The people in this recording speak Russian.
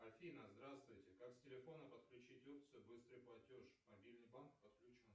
афина здравствуйте как с телефона подключить опцию быстрый платеж мобильный банк подключен